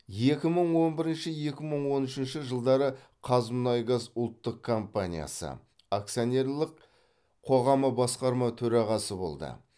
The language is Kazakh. екі мың он бірінші екі мың он үшінші жылдары қазмұнайгаз ұлттық компаниясы акционерлік қоғамы басқарма төрағасы болды